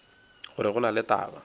gore go na le taba